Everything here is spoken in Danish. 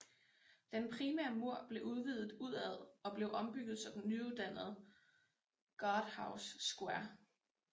Den primære mur blev udvidet udad og blev ombygget så den nydannede Guardhouse Square